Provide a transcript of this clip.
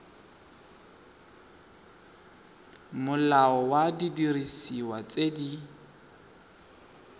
molao wa didiriswa tse di